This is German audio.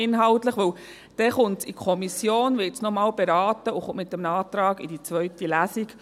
Denn dann kommt es in die Kommission, wird noch einmal beraten und kommt mit einem Antrag in die zweite Lesung.